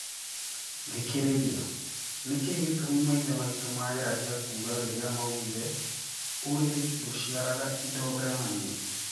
Thikĩrĩria, nĩkĩ gĩtũmi maithe maitũ mageragia kuga rĩrĩa maugire " urĩrĩ ndũciaraga indo ngananie"